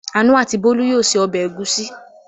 Àánú and Bólú yóò se ọbẹ̀ ẹ̀gúsí!